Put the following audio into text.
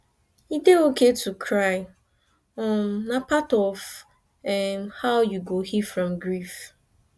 e dey okay to cry um na part of how we go heal from grief